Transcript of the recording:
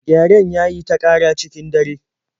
Gyaren ya yi ta ƙara cikin dare